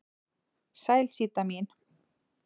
Sæl Síta mín.